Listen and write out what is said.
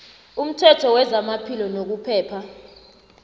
umthetho wezamaphilo nokuphepha